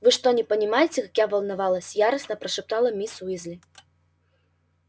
вы что не понимаете как я волновалась яростно прошептала мисс уизли